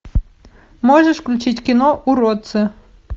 можешь включить кино уродцы